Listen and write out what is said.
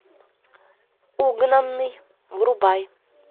угнанный врубай